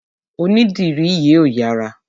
Onídìrí yìí ò yára.